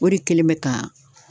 O de kɛlen be ka